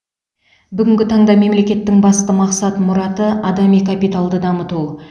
бүгінгі таңда мемлекеттің басты мақсат мұраты адами капиталды дамыту